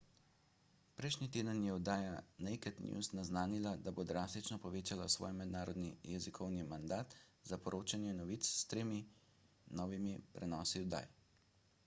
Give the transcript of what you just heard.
prejšnji teden je oddaja naked news naznanila da bo drastično povečala svoj mednarodni jezikovni mandat za poročanje novic s tremi novimi prenosi oddaj